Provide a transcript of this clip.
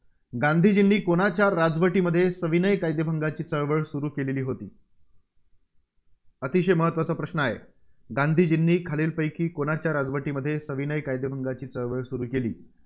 गांधीजींनी कोणाच्या राजवटीमध्ये सविनय कायदेभंगांची चळवळ सुरू केलेली होती? अतिशय महत्त्वाचा प्रश्न आहे. गांधीजींनी खालीलपैकी कुणाच्या राजवटीमध्ये सविनय कायदेभंगाची चळवळ सुरू केली?